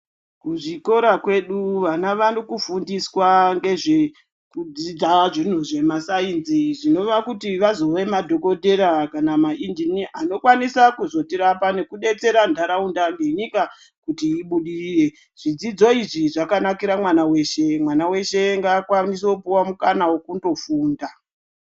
Kuzvikora kwedu vana vari kufundiswa ngezvekudzidza zvintu zvemasainzi zvinova kuti vazove madhokodhera kana mainjiniya anokwanisa kuzotirapa nekudetsera ntaraunda nenyika kuti ibudirire. Zvidzidzo izvi zvakanakira mwana weshe, mwana weshe ngaapuwe mukana wekundofunda.